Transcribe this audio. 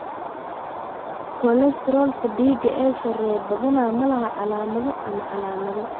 Kolestaroolka dhiigga ee sarreeya badanaa ma laha calaamado ama calaamado.